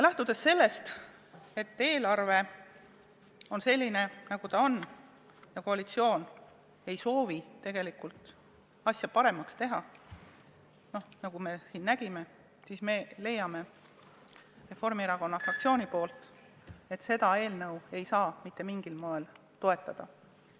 Lähtudes sellest, et eelarve on selline, nagu ta on, ja sellest, et koalitsioon ei soovi tegelikult asja paremaks teha, nagu me siin nägime, leiab Reformierakonna fraktsioon, et seda eelnõu ei saa mitte mingil moel toetada.